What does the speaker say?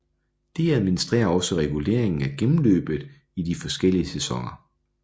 Det administrerer også reguleringen af gennemløbet i de forskellige sæsoner